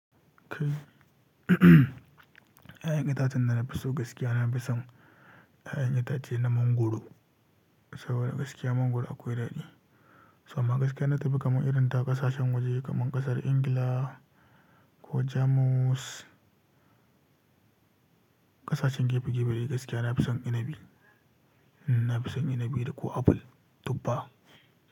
'Ya'yan itacen da na fi so gaskiya, na fi son 'ya'yan itace na mangwaro. Saboda gaskiya mangwaro akwai daɗi. To amma gaskiya ina tafi kaman irin ta ƙasashen waje kaman ƙasar Ingila ko Jamus, ƙasashen gefe gefe gaskiya na fi son inabi. Na fi son inabi da ko apple, tubba.